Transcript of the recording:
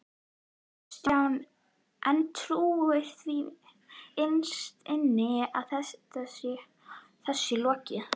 Kristján: En trúirðu því innst inni að þessu sé lokið?